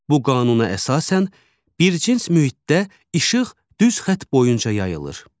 Bu qanuna əsasən, bircins mühitdə işıq düz xətt boyunca yayılır.